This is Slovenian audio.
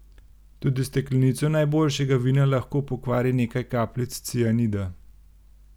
Tudi steklenico najboljšega vina lahko pokvari nekaj kapljic cianida.